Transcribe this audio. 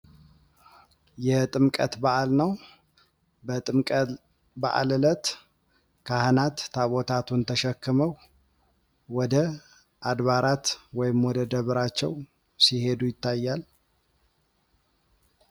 የጥምቀት በዓል ነዉ። በጥምቀት በዓል ዕለት ካህናት ታቦታቱን ተሸክመዉ ወደ አድባራት ወይም ወደ ደብራቸዉ ሲሄዱ ይታያል።